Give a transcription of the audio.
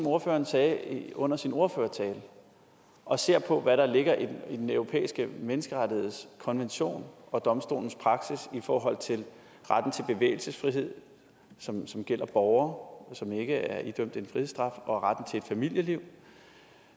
ordføreren sagde under sin ordførertale og ser på hvad der ligger i den europæiske menneskerettighedskonvention og domstolens praksis i forhold til retten til bevægelsesfrihed som som gælder borgere som ikke er idømt en frihedsstraf og retten til et familieliv